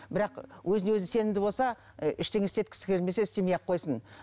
бірақ өзіне өзі сенімді болса ы ештеңе істеткісі келмесе істемей ақ қойсын